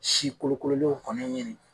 Si kolokololenw kɔni